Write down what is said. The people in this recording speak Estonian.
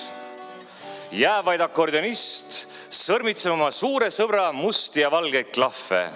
Jääb vaid akordionist sõrmitsema oma suure sõbra musti ja valgeid klahve.